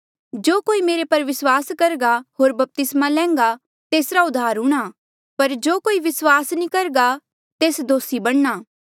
जो कोई मेरे पर विस्वास करघा होर बपतिस्मा लैन्घा तेसरा उद्धार हूंणां पर जो कोई विस्वास नी करघा तेस दोसी बणी जाणा